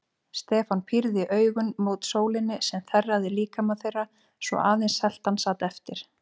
Stefán pírði augun mót sólinni sem þerraði líkama þeirra svo að aðeins seltan sat eftir.